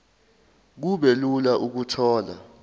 kube lula ukuthola